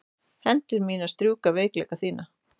Hendur þínar strjúka veikleika mína.